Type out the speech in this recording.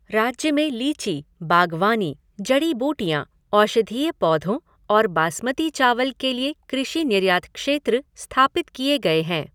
राज्य में लीची, बागवानी, जड़ी बूटियाँ, औषधीय पौधों और बासमती चावल के लिए कृषि निर्यात क्षेत्र स्थापित किए गए हैं।